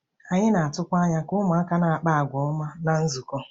Anyị na-atụkwa anya ka ụmụaka na-akpa àgwà ọma ná nzukọ.